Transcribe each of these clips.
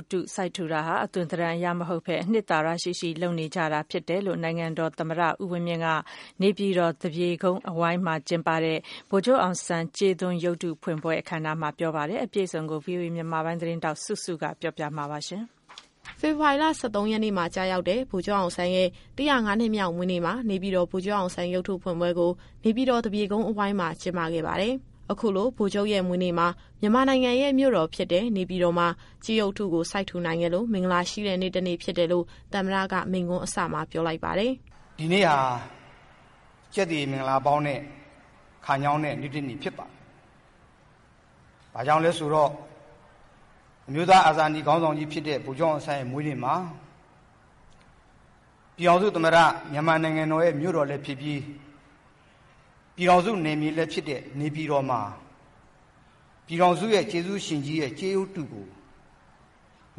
ပ်တုကို စိုက်ထူတာဟာ အသွင်သဏ္ဍာန်အရ လုပ်ဆောင်တာမဟုတ်ဘဲ အနှစ်သာရရှိရှိ လုပ်နေကြတာဖြစ်တယ်လို့ နိုင်ငံတော်သမ္မတ ဦးဝင်းမြင့်က နေပြည်တော် သပြေကုန်းအဝိုင်းမှာ ကျင်းပတဲ့ ဗိုလ်ချုပ်အောင်ဆန်းကြေးရုပ်တု ဖွင့်ပွဲအခမ်းအနားမှာ ပြောဆိုလိုက်တာပါ။ အပြည့်အစုံကို ဗွီအိုအေမြန်မာပိုင်း သတင်းထောက်စုစုက ပြောပြသွားမှာပါ။ ဖေဖော်ဝါရီလ ၁၃ရက်နေ့ မှာကျရောက်တဲ့ ဗိုလ်ချုပ်အောင်ဆန်းရဲ့ ၁၀၅နှစ်မြောက်မွေးနေ့မှာ နေပြည်တော်ဗိုလ်ချုပ်အောင်ဆန်းကြေးရုပ်တုဖွင့်ပွဲကို နေပြည်တော် သပြေကုန်းအဝိုင်းမှာ ကျင်းပခဲ့ပါတယ်။ အခုလို ဗိုလ်ချုပ်ရဲ့မွေးနေ့မှာ မြန်မာနိုင်ငံရဲ့ မြို့တော်ဖြစ်တဲ့ နေပြည်တော်မှာ ကြေးရုပ်တုကို စိုက်ထူနိုင်ခဲ့လို့ မင်္ဂလာရှိတဲ့ နေ့တနေ့ဖြစ်တယ်လို့ သမ္မတက မိန့်ခွန်းအစမှာ ပြောပါတယ်။ “ဒီနေ့ဟာ ကျက်သရေမင်္ဂလာ အပေါင်းနဲ့ခညောင်းတဲ့ နေ့တနေ့ဖြစ်ပါတယ်။ ဘာကြောင့်လဲဆိုတော့ အမျိုးသားအာဇာနည် ခေါင်းဆောင်ကြီးဖြစ်တဲ့ ဗိုလ်ချုပ်အောင်ဆန်းရဲ့မွေးနေ့မှာ ပြည်ထောင်စုသမ္မတ မြန်မာနိုင်ငံတော်ရဲ့ မြို့တော်လည်းဖြစ်ပြီး ပြည်ထောင်စုနယ်မြေလည်းဖြစ်တဲ့ နေပြည်တော်မှာ ပြည်ထောင်စုရဲ့ ကျေးဇူးရှင်ကြီးရဲ့ ကြေးရုပ်တုကို မ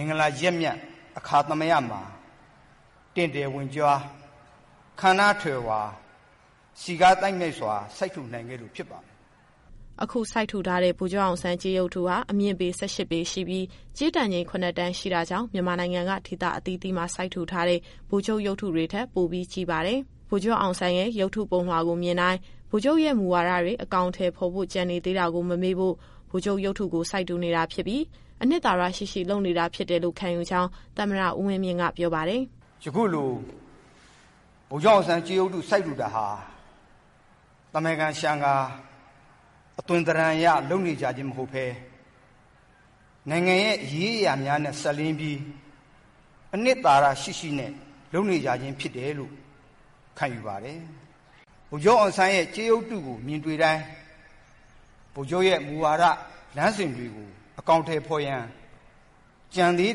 င်္ဂလာရက်မြတ်အခါသမယမှာ တင့်တယ်ဝင့်ကြွား ခမ်းနားထည်ဝါ စည်ကားသိုက်မြိုက်စွာ စိုက်ထူနိုင်ခဲ့လို့ ဖြစ်ပါတယ်။” အခုစိုက်ထူထားတဲ့ ဗိုလ်ချုပ်အောင်ဆန်း ကြေးရုပ်တုဟာ အမြင့်ပေ ၁၈ပေရှိပြီး ကြေးတန်ချိန် ၇ တန်ရှိတာကြောင့် မြန်မာနိုင်ငံက ဒေသအသီးသီးမှာ စိုက်ထူထားတဲ့ ဗိုလ်ချုပ်ကြေးရုပ်တွေထက် ပိုပြီးကြီးပါတယ်။ ဗိုလ်ချုပ်အောင်ဆန်းရဲ့ ရုပ်ထုပုံလွှာကိုမြင်တိုင်း ဗိုလ်ချုပ်ရဲ့မူဝါဒ တွေ အကောင်အထည်ဖော်ဖို့ ကျန်နေ သေးတာကို မမေ့ဖို့ ဗိုလ်ချုပ်ရုပ်တုကို စိုက်ထူနေတာ ဖြစ်ပြီး အနှစ်သာရရှိရှိ လုပ်နေတာဖြစ်တယ်လို့ ခံယူကြောင်း သမ္မတဦးဝင်းမြင့်က ပြောပါတယ်။ “ယခုလို ဗိုလ်ချုပ်အောင်ဆန်းကြေးရုပ်တု စိုက်ထူတာဟာ သာမန်ကာလျှံကာ အသွင်သဏ္ဍာန်အရ လုပ်နေကြခြင်းမဟုတ်ဘဲ နိုင်ငံရဲ့အရေးအရာများနဲ့ စပ်လျဉ်းပြီး အနှစ်သာရရှိရှိနဲ့ လုပ်နေကြခြင်းဖြစ်တယ်လို့ ခံယူပါတယ်။ ဗိုလ်ချုပ်အောင်ဆန်းရဲ့ ကြေးရုပ်တုကိုမြင်တွေ့တိုင်း ဗိုလ်ချုပ်ရဲ့မူဝါဒ လမ်းစဉ်တွေကို အကောင်အထည်ဖော်ရန် ကျန်သေး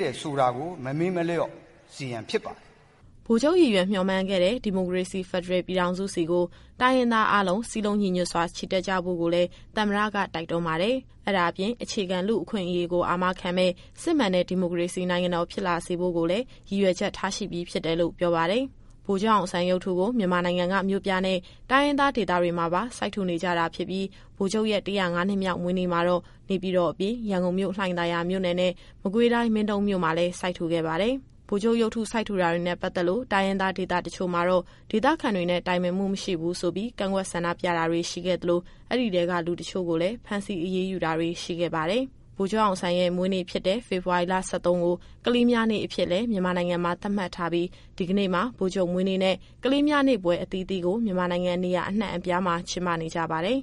တယ်ဆိုတာကို မမေ့လျော့စေရန် ဖြစ်ပါတယ်။” ဗိုလ်ချုပ်ရည်ရွယ် မျှော်မှန်းခဲ့တဲ့ ဒီမိုကရေစီ ဖက်ဒရယ်ပြည်ထောင်စုဆီကို တိုင်းရင်းသားအားလုံး စည်းလုံးညီညွတ်စွာ ချီတက်ကြဖို့ကိုလည်း သမ္မတက တိုက်တွန်းပါတယ်။ အဲဒါအပြင် အခြေခံလူ့အခွင့်အရေးကို အာမခံမယ့် စစ်မှန်တဲ့ ဒီမိုကရေစီ နိုင်ငံတော်ဖြစ်လာစေဖို့ကိုလည်း ရည်ရွယ်ချက်ထားရှိပြီးဖြစ်တယ်လို့ ပြောပါတယ်။ ဗိုလ်ချုပ်အောင်ဆန်းရုပ်တုကို မြန်မာနိုင်ငံက မြို့ပြနဲ့ တိုင်းရင်းသားဒေသတွေမှာပါ စိုက်ထူ နေကြတာဖြစ်ပြီး ဗိုလ်ချုပ်ရဲ့ ၁၀၅နှစ်မြောက် မွေးနေ့မှာတော့ နေပြည်တော်အပြင် ရန်ကုန်မြို့ လှိုင်သာယာမြို့နယ်နဲ့ မကွေးတိုင်း မင်းတုန်းမြို့မှာလည်း စိုက်ထူခဲ့ပါတယ်။ ဗိုလ်ချုပ်အောင်ဆန်းရဲ့ မွေးနေ့ဖြစ်တဲ့ ဖေဖော်ဝါရီ ၁၃ကို ကလေးများနေ့အဖြစ်လည်း မြန်မာနိုင်ငံမှာသတ်မှတ်ထားပြီး ဒီကနေ့မှာ ဗိုလ်ချုပ်မွေးနေ့နဲ့ ကလေးများနေ့ပွဲ အသီးသီးကို မြန်မာနိုင်ငံ နေရာအနှံ့အပြားမှာ ကျင်းပနေကြပါတယ်။